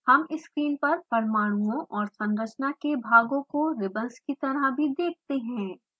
हम स्क्रीन पर परमाणुओं और संरचना के भागों को रिबंस की तरह भी देखते हैं